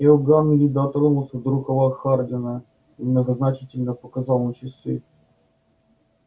иоганн ли дотронулся до рукава хардина и многозначительно показал на часы